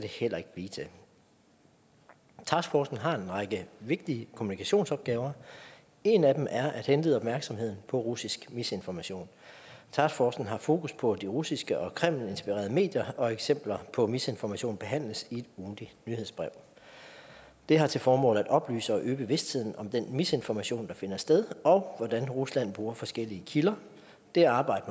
heller ikke blive til taskforcen har en række vigtige kommunikationsopgaver en af dem er at henlede opmærksomheden på russisk misinformation taskforcen har fokus på de russiske og kremlinspirerede medier og eksempler på misinformation behandles i et ugentligt nyhedsbrev det har til formål at oplyse og øge bevidstheden om den misinformation der finder sted og om hvordan rusland bruger forskellige kilder det arbejde